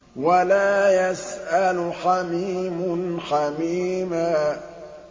وَلَا يَسْأَلُ حَمِيمٌ حَمِيمًا